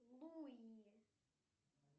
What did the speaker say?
луи